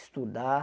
Estudar.